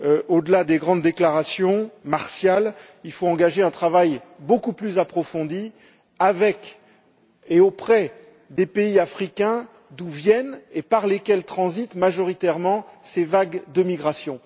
Au delà des grandes déclarations martiales, il faut engager un travail beaucoup plus approfondi avec et envers les pays africains d'où viennent et par lesquels transitent majoritairement ces vagues de migrations.